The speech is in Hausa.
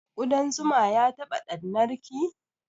Ƙuɗan zuma ya taɓa ɗannar ki?